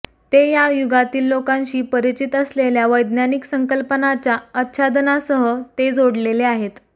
ते या युगांतील लोकांशी परिचित असलेल्या वैज्ञानिक संकल्पनांच्या आच्छादनासह ते जोडलेले आहेत